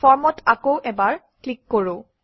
Form অত আকৌ এবাৰ ক্লিক কৰোঁ